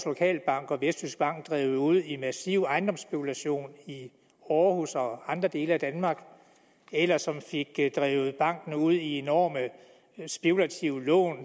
lokalbank og vestjyskbank drevet ud i en massiv ejendomsspekulation i aarhus og andre dele af danmark eller som fik drevet banken ud i enorme spekulative lån